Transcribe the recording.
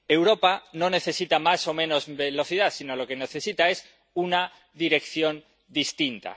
Europa no necesita más o menos velocidad, sino que lo que necesita es una dirección distinta.